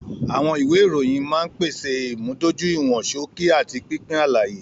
Àwọn ìwé ìròyìn máa ń pèsè ìmúdójúìwọ̀n ṣókí àti pínpín àlàyé.